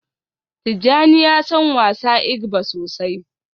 Tijjani ya san wasa igba sosai